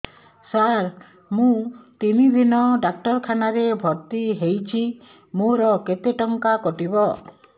ସାର ମୁ ତିନି ଦିନ ଡାକ୍ତରଖାନା ରେ ଭର୍ତି ହେଇଛି ମୋର କେତେ ଟଙ୍କା କଟିବ